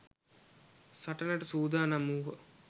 සටනට සූදානම් වූහ.